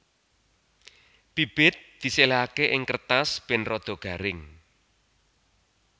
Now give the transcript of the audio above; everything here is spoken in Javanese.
Bibit diséléhaké ing kertas bén rada garing